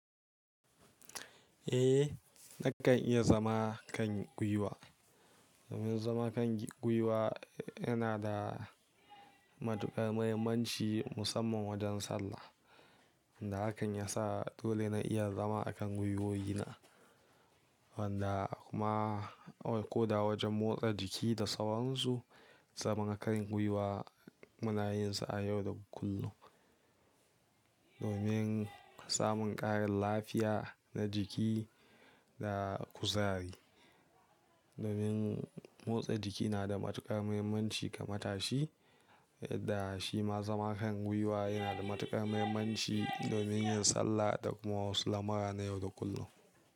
Eh, na kan iya zama kan gwiwa. Zama kan gwiwa yana da matuƙar muhimmanci musamman wajen sallah. Inda hakan ya sa dole na iya zama a kan gwiwowi na. Wanda kuma ko da wajen motsa jiki da sauransu, zama kan gwiwa munayinsa a yau da kullum. Domin samun ƙarin lafiya na jiki da kuzari. Domin motsa jiki na da matuƙar muhimmanci ga matashi, da shi ma zama kan gwiwa yana da matuƙar muhimmanci domin yin sallah da kuma wasu lamura na yau da kullum.